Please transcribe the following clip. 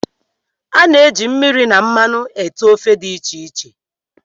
A na-eji mmiri na mmanụ ete ofe dị iche iche